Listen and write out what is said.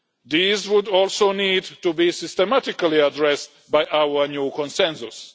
These would also need to be systematically addressed by our new Consensus.